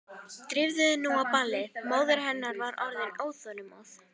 Drífðu þig nú á ballið, móðir hennar var orðin óþolinmóð.